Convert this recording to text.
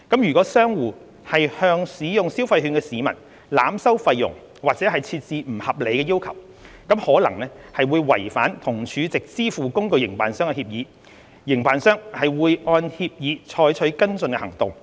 如果商戶向使用消費券的市民濫收費用或設置不合理要求，可能違反與儲值支付工具營辦商的協議，營辦商會按協議採取跟進行動，包括取消其帳戶。